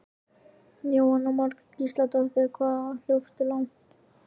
Jóhanna Margrét Gísladóttir: Og hvað hljópstu langt?